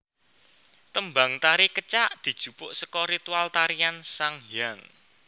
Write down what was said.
Tembang tari Kecak dijupuk saka ritual tarian sanghyang